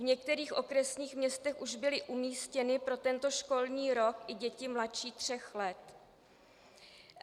V některých okresních městech už byly umístěny pro tento školní rok i děti mladší tří let.